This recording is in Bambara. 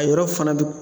A yɔrɔ fana